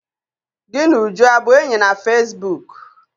Gị na Uju abụ enyi na fesibuuku?